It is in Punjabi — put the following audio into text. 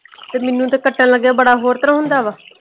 ਤੇ ਮੈਨੂੰ ਤੇ ਕੱਟਣ ਲੱਗੇ ਬੜਾ ਹੋਰ ਤਰ੍ਹਾਂ ਹੁੰਦਾ ਵਾ।